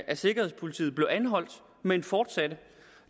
af sikkerhedspolitiet blev anholdt men fortsatte